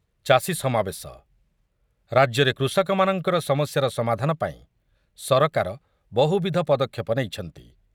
ଚାଷୀ ସମାବେଶ, ରାଜ୍ୟରେ କୃଷକମାନଙ୍କର ସମସ୍ୟାର ସମାଧାନ ପାଇଁ ସରକାର ବହୁବିଧ ପଦକ୍ଷେପ ନେଇଛନ୍ତି ।